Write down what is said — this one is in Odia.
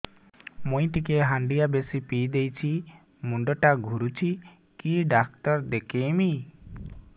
ମୁଇ ଟିକେ ହାଣ୍ଡିଆ ବେଶି ପିଇ ଦେଇଛି ମୁଣ୍ଡ ଟା ଘୁରୁଚି କି ଡାକ୍ତର ଦେଖେଇମି